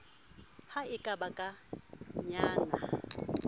ha e ka ba kaenyana